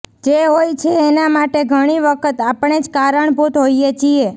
જે હોય છે એના માટે ઘણી વખત આપણે જ કારણભૂત હોઈએ છીએ